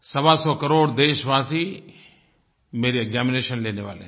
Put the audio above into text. सवासौ करोड़ देशवासी मेरी एक्जामिनेशन लेने वाले हैं